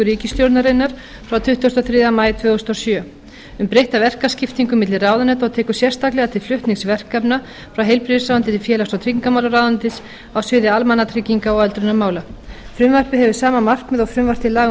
ríkisstjórnarinnar frá tuttugasta og þriðja maí tvö þúsund og sjö um breytta verkaskiptingu milli ráðuneyta og tekur sérstaklega til flutnings verkefna frá heilbrigðisráðuneyti til félags og tryggingamálaráðuneytis á sviði almannatrygginga og öldrunarmála frumvarpið hefur sama markmið og frumvarp til laga um breytingu